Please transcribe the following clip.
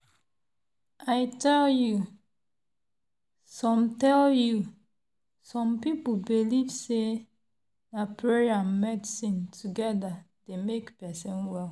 i tell you! some tell you! some people believe say na prayer and medicine together dey make person well.